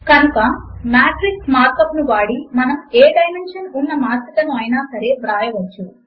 కనుక matrix mark up ను వాడి మనము ఏ డైమెన్షన్ ఉన్న మాత్రికను అయినా సరే వ్రాయవచ్చు